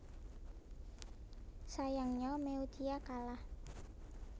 Sayangnya Meutya kalah